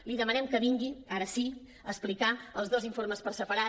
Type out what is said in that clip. li demanem que vingui ara sí a explicar els dos informes per separat